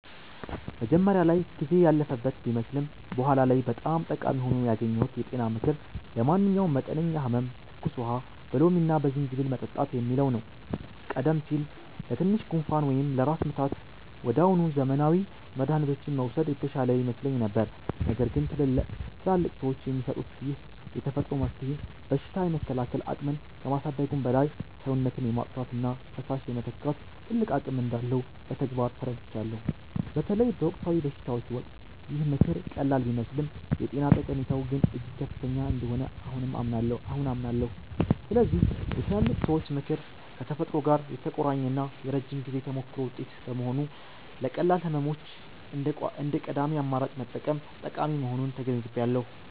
መጀመሪያ ላይ ጊዜ ያለፈበት ቢመስልም በኋላ ላይ በጣም ጠቃሚ ሆኖ ያገኘሁት የጤና ምክር 'ለማንኛውም መጠነኛ ህመም ትኩስ ውሃ በሎሚና በዝንጅብል መጠጣት' የሚለው ነው። ቀደም ሲል ለትንሽ ጉንፋን ወይም ለራስ ምታት ወዲያውኑ ዘመናዊ መድኃኒቶችን መውሰድ የተሻለ ይመስለኝ ነበር። ነገር ግን ትላልቅ ሰዎች የሚሰጡት ይህ የተፈጥሮ መፍትሄ በሽታ የመከላከል አቅምን ከማሳደጉም በላይ፣ ሰውነትን የማጽዳትና ፈሳሽ የመተካት ትልቅ አቅም እንዳለው በተግባር ተረድቻለሁ። በተለይ በወቅታዊ በሽታዎች ወቅት ይህ ምክር ቀላል ቢመስልም የጤና ጠቀሜታው ግን እጅግ ከፍተኛ እንደሆነ አሁን አምናለሁ። ስለዚህ የትላልቅ ሰዎች ምክር ከተፈጥሮ ጋር የተቆራኘና የረጅም ጊዜ ተሞክሮ ውጤት በመሆኑ፣ ለቀላል ህመሞች እንደ ቀዳሚ አማራጭ መጠቀም ጠቃሚ መሆኑን ተገንዝቤያለሁ።